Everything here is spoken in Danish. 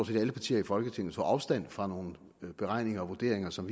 set alle partier i folketinget tog afstand fra nogle beregninger og vurderinger som